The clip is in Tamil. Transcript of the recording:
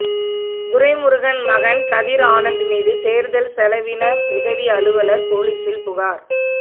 துரைமுருகன் மகன் கதிர் ஆனந்த் மீது தேர்தல் செலவின உதவி அலுவலர் போலீஸில் புகார்